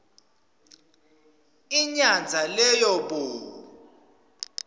inyandza leyo bo